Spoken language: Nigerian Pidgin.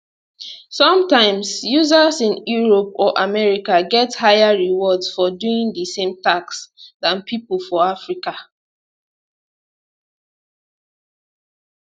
sometimes users in europe or america get higher rewards for doing di same tasks dan pipo for africa